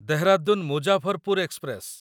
Dehradun Muzaffarpur express